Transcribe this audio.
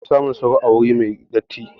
Anfi samun sauro a guri mai datti